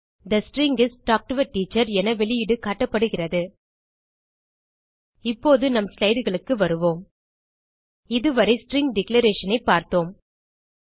they string is talk to a teacher என வெளியீடு காட்டப்படுகிறது இப்போது நம் slideகளுக்கு வருவோம் இதுவரை ஸ்ட்ரிங் டிக்ளரேஷன் ஐ பார்த்தோம்